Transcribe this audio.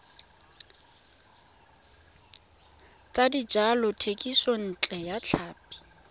tsa dijalo thekisontle ya tlhapi